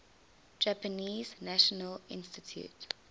japanese national institute